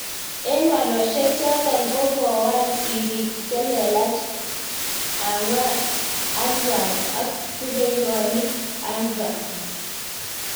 Eng walosbek chotok, ko kawal Sirik xhelelach anvwan ak rupeiywokik anvwan